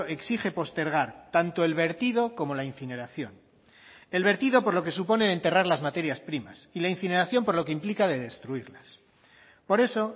exige postergar tanto el vertido como la incineración el vertido por lo que supone enterrar las materias primas y la incineración por lo que implica de destruirlas por eso